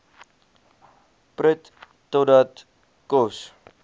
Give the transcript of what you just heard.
prut totdat kos